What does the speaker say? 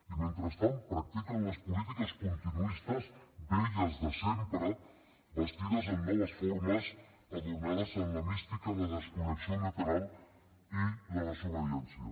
i mentrestant practiquen les polítiques continuistes velles de sempre vestides amb noves formes adornades amb la mística de la desconnexió unilateral i la desobediència